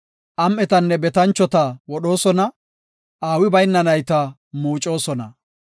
Am7etanne betanchota wodhoosona; aawi bayna nayta muucosona.